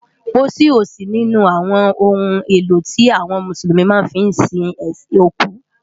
Pósí ó sí ninú áwòn óhún éló ti áwòn Músúlúmi má fi n sín ókú.